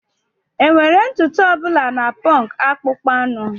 Enwere ntutu ọ bụla na punk akpụkpọ anụ.